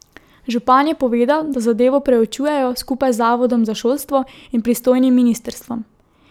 Župan je povedal, da zadevo preučujejo skupaj z zavodom za šolstvo in pristojnim ministrstvom.